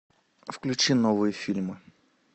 включи новые фильмы